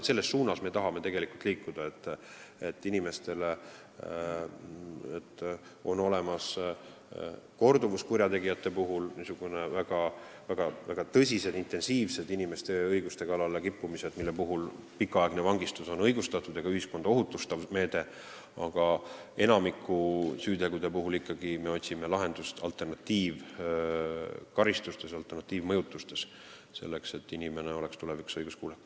Me tahame liikuda selles suunas, et korduvkurjategijate puhul, kui on olemas väga tõsised, intensiivsed inimeste ja õiguste kallale kippumised, on pikaaegne vangistus õigustatud ja ka ühiskonda ohutustav meede, aga enamiku süütegude puhul me otsime lahendust alternatiivkaristustes, alternatiivmõjutustes, selleks et inimene oleks tulevikus õiguskuulekam.